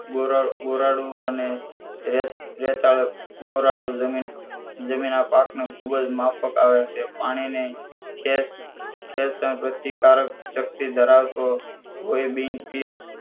ગોરાળું ગોરાળું અને રેતાળ ગોરાળું જમીન આ પાકને ખૂબ જ માફક આવે છે પાણી ને ખેત ખેત પ્રતિકારક શક્તિ ધરાવતો કોઈ બિન